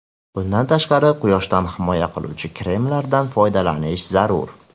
Bundan tashqari, quyoshdan himoya qiluvchi kremlardan foydalanish zarur.